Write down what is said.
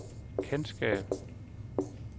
kendskab